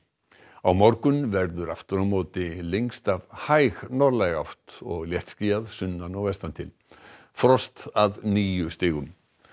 á morgun verður aftur á móti lengst af hæg norðlæg átt og léttskýjað sunnan og vestan til frost að níu stigum